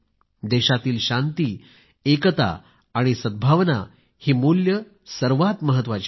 देशातील शांती एकता आणि सद्भावना ही मूल्ये सर्वात महत्वाची आहेत